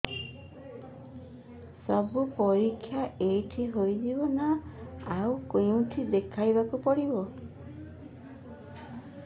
ସବୁ ପରୀକ୍ଷା ଏଇଠି ହେଇଯିବ ନା ଆଉ କଉଠି ଦେଖେଇ ବାକୁ ପଡ଼ିବ